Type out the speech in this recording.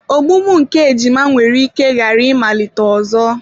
Ogbugbu nke ejima nwere ike ghara ịmalite ọzọ.